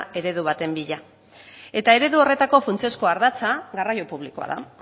eredu baten bila eta eredu horretako funtsezko ardatza garraio publikoa da